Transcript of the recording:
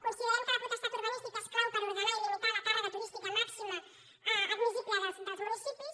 con·siderem que la potestat urbanística és clau per orde·nar i limitar la càrrega turística màxima admissible dels municipis